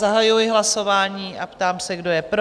Zahajuji hlasování a ptám se, kdo je pro?